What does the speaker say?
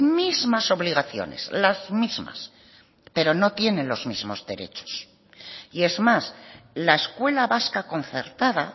mismas obligaciones las mismas pero no tienen los mismos derechos y es más la escuela vasca concertada